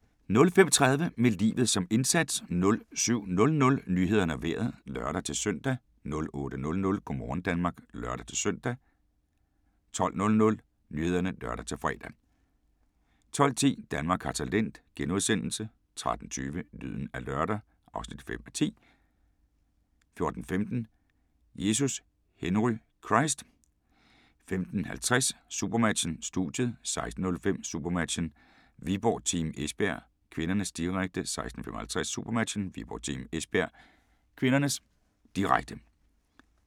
05:30: Med livet som indsats 07:00: Nyhederne og Vejret (lør-søn) 08:00: Go' morgen Danmark (lør-søn) 12:00: Nyhederne (lør-fre) 12:10: Danmark har talent * 13:20: Lyden af lørdag (5:10) 14:15: Jesus Henry Christ 15:50: SuperMatchen: Studiet 16:05: SuperMatchen: Viborg-Team Esbjerg (k), direkte 16:55: SuperMatchen: Viborg-Team Esbjerg (k), direkte